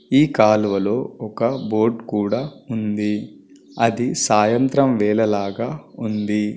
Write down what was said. ఈ కాలువలో ఒక బోట్ కూడా ఉంది. అది సాయంత్రం వెళ్ళ లాగా ఉంది.